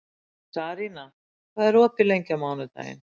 Sarína, hvað er opið lengi á mánudaginn?